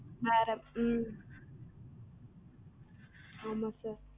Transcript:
வேற உம் ஆமா sir